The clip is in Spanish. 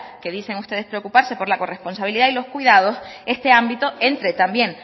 que dicen ustedes preocuparse por la corresponsabilidad y los cuidados este ámbito entre también